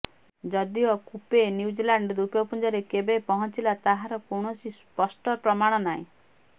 ଯଦିଓ Kupe New Zealand ଦ୍ୱୀପପୁଞ୍ଜରେ କେବେ ପହଞ୍ଚିଲା ତାହାର କୌଣସି ସ୍ପଷ୍ଟ ପ୍ରମାଣ ନାହିଁ